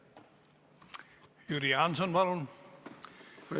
Jüri Jaanson, palun!